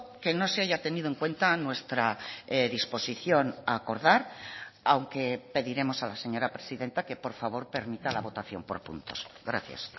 que no se haya tenido en cuenta nuestra disposición a acordar aunque pediremos a la señora presidenta que por favor permita la votación por puntos gracias